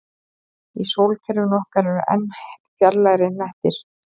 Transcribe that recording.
Í sólkerfinu okkar eru enn fjarlægari hnettir.